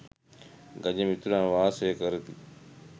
ගජ මිතුරන්ව වාසය කරති.